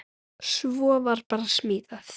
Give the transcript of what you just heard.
Svo var bara smíðað.